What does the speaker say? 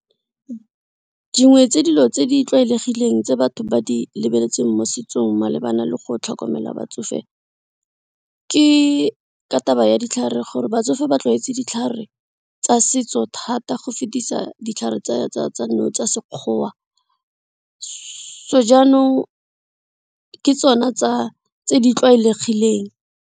Dingwe tse dilo tse di tlwaelegileng tse batho ba di lebeletseng mo setsong malebana le go tlhokomela batsofe ke ka taba ya ditlhare gore batsofe ba tlwaetse di ditlhare tsa setso thata go fetisa ditlhare tsa sekgowa so janong ke tsona tse di tlwaelegileng.